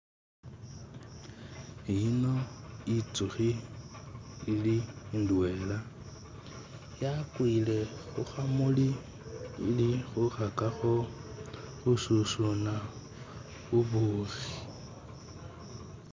Eyino intsukhi ili indwela nga yakwile khukhamuli khekhakakho khususuna bubukhi